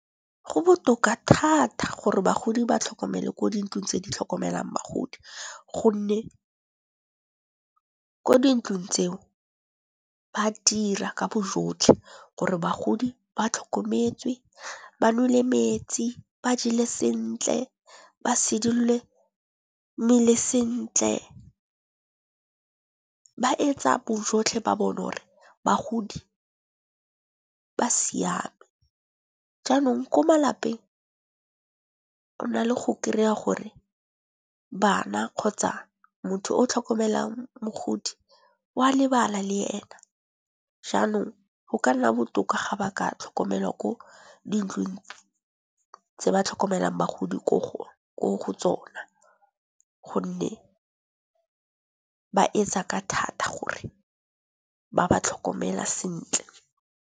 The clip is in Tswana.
Go botoka thata gore bagodi ba tlhokomele ko dintlong tse di tlhokomelang bagodi. Gonne ko dintlong tseo ba dira ka bojotlhe gore bagodi ba tlhokometswe, ba neile metsi, ba jele sentle, ba sodulle mmele sentle. Ba etsa bojotlhe ba bona gore bagodi ba siame. Jaanong ko malapeng o na le go kry-a gore bana kgotsa motho o tlhokomelang mogodi o a lebala le ena, jaanong go ka nna botoka ga ba ka tlhokomelwa ko di ntlong tse ba tlhokomelang bagodi ko go tsona. Gonne ba etsa ka thata gore ba ba tlhokomela sentle.